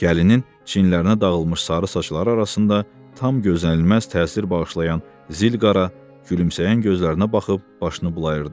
Gəlinin çinlərinə dağılmış sarı saçları arasında tam gözlənilməz təsir bağışlayan zilqara, gülümsəyən gözlərinə baxıb başını bulayırdı.